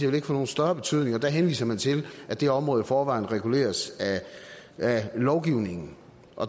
vil få nogen større betydning og der henviser man til at det område i forvejen reguleres af lovgivningen